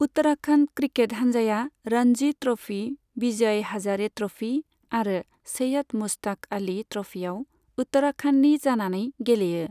Uttarakhand cricket हानजाया Ranji trophy, Vijay Hazare trophy आरो सैयद मुश्ताक आली ट्र'फीआव उत्तराखन्डनि जानानै गेलेयो।